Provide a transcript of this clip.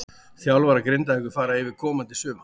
Þjálfarar Grindavíkur fara yfir komandi sumar.